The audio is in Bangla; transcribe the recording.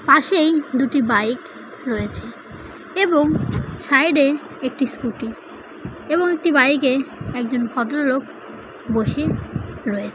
পাশেই দুটি বাইক রয়েছেএবং সাইড এ একটি স্কুটি এবং একটি বাইক এ একজন ভদ্রলোক বসে রয়েছে ।